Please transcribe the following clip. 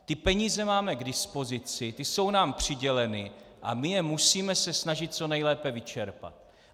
Ty peníze máme k dispozici, ty jsou nám přiděleny a my se musíme snažit je co nejlépe vyčerpat.